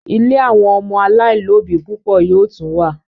ílé àwọn ọmọ alailòbí púpọ yoo tún wá